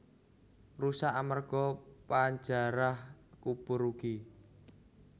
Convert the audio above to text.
Rusak amerga panjarah kubur ugi